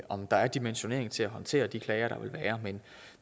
om der er dimensionering til at håndtere de klager der vil være men